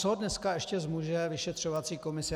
Co dneska ještě zmůže vyšetřovací komise?